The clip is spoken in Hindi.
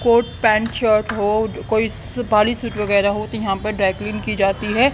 कोट पैंट शर्ट हो कोई सफारी शूट वगैरा हो तो यहां पर ड्राई क्लीन की जाती है।